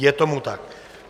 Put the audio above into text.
Je tomu tak.